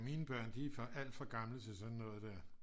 mine børn de er alt for gamle til sådan noget der